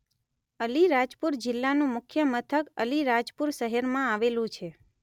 અલીરાજપુર જિલ્લાનું મુખ્ય મથક અલીરાજપુર શહેરમાં આવેલું છે.